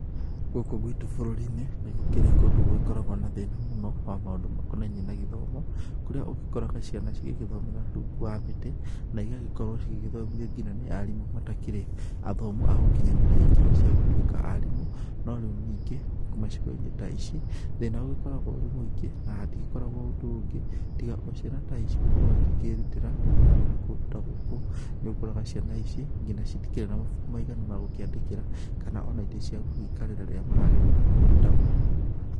Gũkũ gwitũ bũrũrinĩ nĩgũkĩragwo kũndũ gwĩ thina mũno wa maũndũ makonaniĩ gĩthomo, kũrĩa ũgĩkoraga ciana igĩthoma rungu wa mĩtĩ na igagĩkorwo cigĩthomithio nginya nĩ arimũ matakĩrĩ athomu agũkinyanĩria ikĩro cia gũtuĩkaa arimũ norĩũ ningĩ ,icigoinĩ ta ici thĩna ũgĩkoragwo ũrĩ mũingĩ na hatikoragwa naũndũ ũngĩ tiga ociana ta ici gukorwo kwĩrutĩra gũthomera kũndũ ta gũkũ, nĩũkoraga nginya ciana ta ici itirĩ na mabuku maiganu ma kwandĩkĩra kana ona itĩ cia gũgĩkarĩra rĩrĩa maragĩthomera kũndũ ta gũkũ.